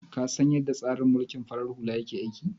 Ka san yadda tsarin mulkin farar hula yake aiki?